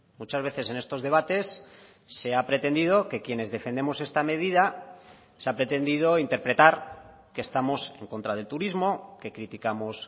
muchas veces en estos debates se ha pretendido que quienes defendemos esta medida se ha pretendido interpretar que estamos en contra del turismo que criticamos